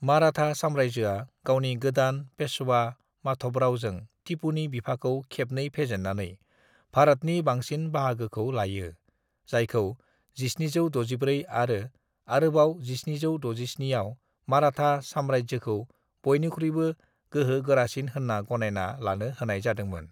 "माराठा सामरायजोआ गावनि गोदान पेशवा माधवराओ जों टिपुनि बिफाखौ खेबनै फेजेननानै भारातनि बांसिन बाहागोखौनो लायो, जायखौ 1764 आरो अरोबाव 1767 आव माराठा साम्रायजोखौ बयनिख्रुबो गोहो गोरासिन होनना गनायना लानो होनाय जादोंमोन"